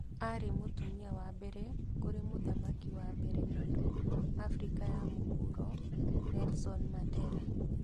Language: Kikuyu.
Arĩ mũtumia wa mbere kũrĩ mũthamaki wa mbere mũiro Africa ya Mũhuro Nelson Mandera